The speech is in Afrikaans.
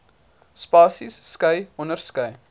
spasies skei onderskeie